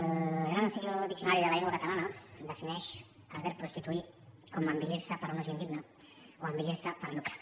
el gran diccionari de la llengua catalana defineix el verb prostituir com envilir se per un ús indigne o envilir se per lucre